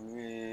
N'u ye